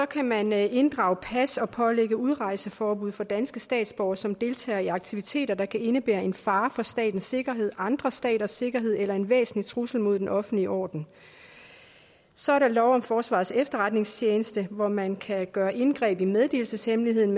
kan man inddrage pas og pålægge udrejseforbud for danske statsborgere som deltager i aktiviteter der kan indebære en fare for statens sikkerhed andre staters sikkerhed eller en væsentlig trussel mod den offentlige orden så er der lov om forsvarets efterretningstjeneste hvor man kan gøre indgreb i meddelelseshemmeligheden